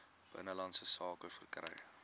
binnelandse sake verkry